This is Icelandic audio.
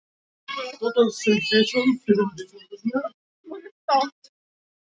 Nú ætla ég að reyna að hjálpa.